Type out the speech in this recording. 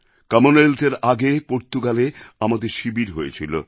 কমনওয়েলথএর আগে পর্তুগালে আমাদের শিবির হয়েছিল